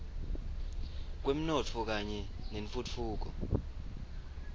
kwemnotfo kanye nentfutfuko